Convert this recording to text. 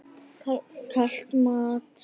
Kalt mat?